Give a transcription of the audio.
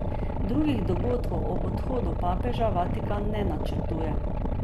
Drugih dogodkov ob odhodu papeža Vatikan ne načrtuje.